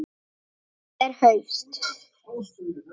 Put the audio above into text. Það er haust.